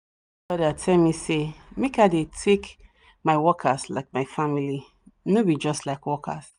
that elder tell me me say make i dey take my workers like my family no be just like workers